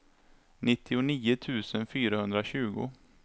nittionio tusen fyrahundratjugo